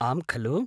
आम् खलु्?